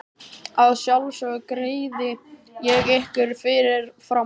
Að sjálfsögðu greiði ég ykkur fyrir fram.